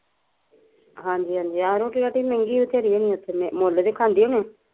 ਹਾਂਜੀ ਹਾਂਜੀ ਆਹੋ ਰੋਟੀ ਰੁਟੀ ਮਹਿੰਦੀ ਮਿਲਦੀ ਹੁਣੀ ਓਥੇ ਮੁੱਲ ਦੀ ਖਾਂਦੇ ਹੁਣੇ ਆ